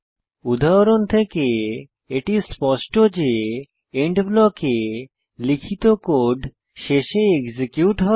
উদাহরণ থেকে এটি স্পষ্ট যে এন্ড ব্লকে লিখিত কোড শেষে এক্সিকিউট হয়